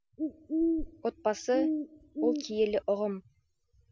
отбасы ол киелі ұғым